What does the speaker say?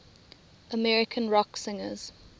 american rock singers